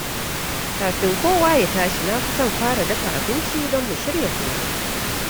Kafin kowa ya tashi, na fi son fara dafa abinci don mu shirya komai.